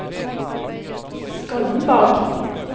Skollenborg